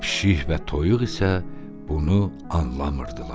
Pişik və toyuq isə bunu anlamırdılar.